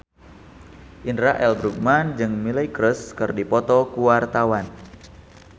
Indra L. Bruggman jeung Miley Cyrus keur dipoto ku wartawan